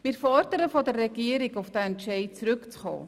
Wir fordern von der Regierung, auf diesen Entscheid zurückzukommen.